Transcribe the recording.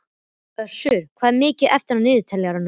Össur, hvað er mikið eftir af niðurteljaranum?